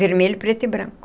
Vermelho, preto e branco.